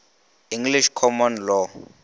english common law